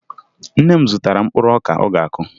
Nne m zụtara mkpụrụ ọka ọ ga-akụ